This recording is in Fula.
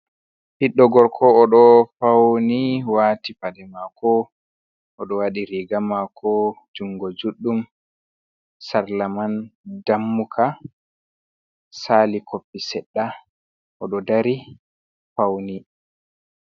Ɓiɗdo gorko oɗo fauni wati pade mako, oɗo waɗi riga mako jungo juɗɗum, sarla man ndammuka sali koppi seɗɗa oɗo dari fauni.